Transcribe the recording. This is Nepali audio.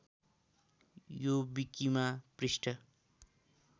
यो विकिमा पृष्ठ